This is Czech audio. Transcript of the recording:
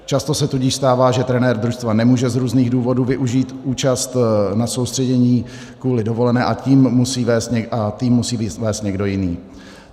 Často se tudíž stává, že trenér družstva nemůže z různých důvodů využít účast na soustředění kvůli dovolené a tým musí vést někdo jiný.